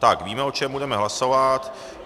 Tak, víme, o čem budeme hlasovat.